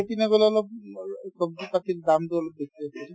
গ'লে অলপ ছব্জি কাটি দামতো অলপ বেছি